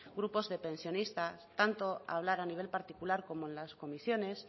grupos de pensionistas tanto a hablar a nivel particular como en las comisiones